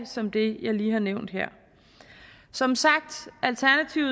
som det jeg lige har nævnt her som sagt